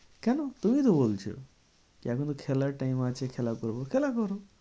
কেন? তুমি তো বলছো যে এখনো খেলার time আছে খেলা করবো। খেলা করো